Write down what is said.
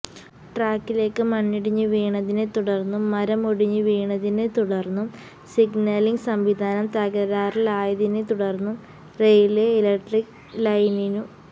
ട്രാക്കിലേക്ക് മണ്ണിടിഞ്ഞു വീണതിനെ തുടര്ന്നും മരം ഒടിഞ്ഞു വീണതിനെ തുടര്ന്നും സിഗ്നലിംഗ് സംവിധാനം തകരാറിലായതിനെ തുടര്ന്നും റെയില്വേ ഇലക്ട്രിക് ലൈനിനു